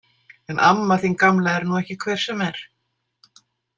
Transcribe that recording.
En amma þín gamla er nú ekki hver sem er.